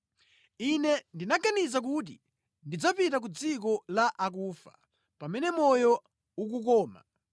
Ine ndinaganiza kuti ndidzapita ku dziko la akufa pamene moyo ukukoma.